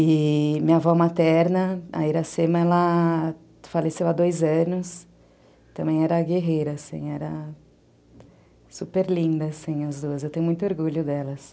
E minha avó materna, a Iracema, ela faleceu há dois anos, também era guerreira assim, era super linda assim as duas, eu tenho muito orgulho delas.